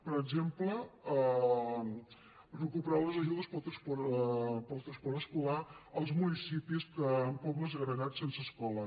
per exemple recuperar les ajudes per al transport escolar als municipis amb pobles agregats sense escola